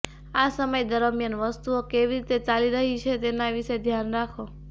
આ સમય દરમિયાન વસ્તુઓ કેવી રીતે ચાલી રહી છે તેના વિશે ધ્યાન રાખો